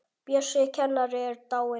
Bjössi kennari er dáinn.